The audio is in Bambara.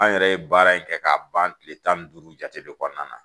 An yɛrɛ ye baara in kɛ k'a ban kile tan ni duuru jate de kɔnɔna na.